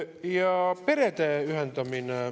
Ja perede ühendamine.